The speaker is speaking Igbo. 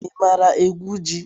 I maara egwu ji?